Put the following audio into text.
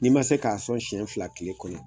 N'i ma se k'a sɔn seɲɛn fila tile kɔnɔ.